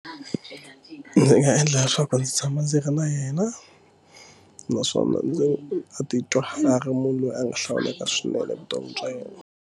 Ndzi nga endla leswaku ndzi tshama ndzi ri na yena naswona ndzi a titwa a ri munhu loyi a nga hlawuleka swinene evuton'wini bya yena.